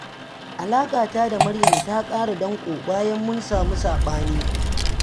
Alaƙata da Maryam ta ƙara danƙo, bayan mun samu saɓani